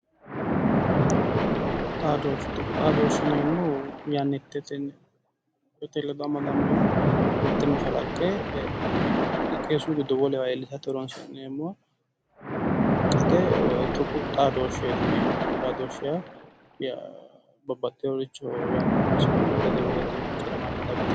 Tuqu xaadoshshe ,tuqu xaadoshshe yineemmohu yannitetenni yannate ledo amadaminoha mite mashalaqqe xiqesu giddo wolewa iillishate horonsi'neemmota tuqu xaadoshaheti yineemmo woyi tuqu xaadoshshe yaa babbaxeyo yanna horonsi'ne dagate maccara